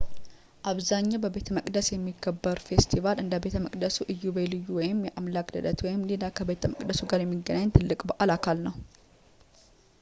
አብዛኛው በቤተመቅደስ የሚከበረው ፌስቲቫል እንደ ቤተ መቅደሱ እዩ በልዩ ወይም የአምላክ ልደት ወይም ሌላ ከቤተ መቅደሱ ጋር የሚገናኝ ትልቅ በዓል አካል ነው